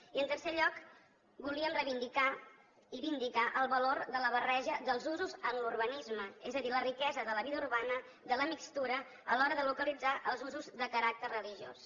i en tercer lloc volíem reivindicar i vindicar el valor de la barreja dels usos en l’urbanisme és a dir la riquesa de la vida urbana de la mixtura a l’hora de localitzar els usos de caràcter religiós